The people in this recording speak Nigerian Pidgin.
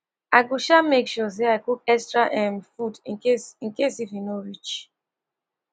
i go um make sure say i cook extra um food in case in case if e no reach